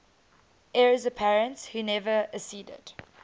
heirs apparent who never acceded